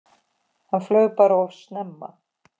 Hann flaug bara of snemma.